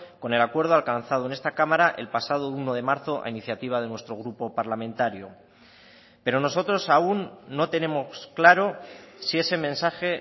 con el acuerdo alcanzado en esta cámara el pasado uno de marzo a iniciativa de nuestro grupo parlamentario pero nosotros aún no tenemos claro si ese mensaje